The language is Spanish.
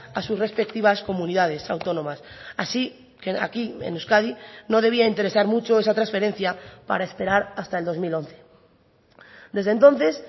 a sus respectivas comunidades autónomas así que aquí en euskadi no debía interesar mucho esa transferencia para esperar hasta el dos mil once desde entonces